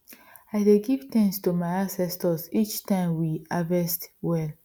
i dey give thanks to my ancestors each time we harvest well